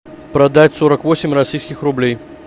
продать сорок восемь российских рублей